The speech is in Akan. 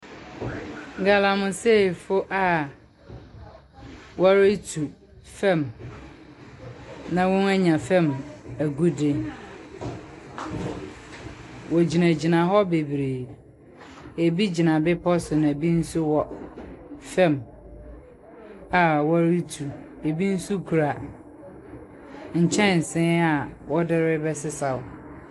Galmaseefoɔ a wɔretu fam na wɔanya fam agude. Wɔgyinagyina hɔ bebree. Ebi gyina bepɔ so na ebi nso wɔ fam a wɔretu. Ebi nso kura nkyɛnse a wɔde rebɛsesaw.